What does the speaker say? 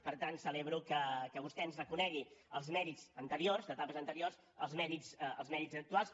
per tant celebro que vostè ens reconegui els mèrits anteriors d’etapes anteriors els mèrits actuals